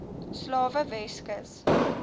slawe weskus